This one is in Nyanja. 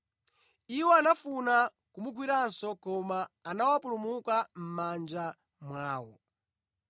Iwo anafuna kumugwiranso koma anawapulumuka mʼmanja mwawo.